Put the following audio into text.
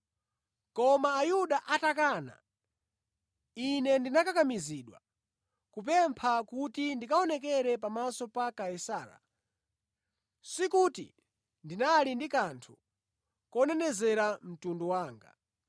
Koma Ayuda atakana, ine ndinakakamizidwa kupempha kuti ndikaonekere pamaso pa Kaisara, sikuti ndinali ndi kanthu konenezera mtundu wanga.